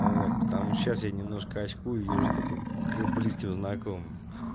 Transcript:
вот потому сейчас я немножко очкую и езжу только к близким знакомым